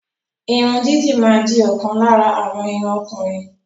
Irun didi ma di okan lara awon irun okunrin